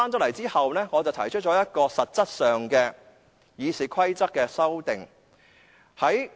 回來後，我提出一項實質的《議事規則》修訂。